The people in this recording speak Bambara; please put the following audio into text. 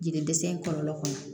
Jiri dɛsɛ in kɔlɔlɔ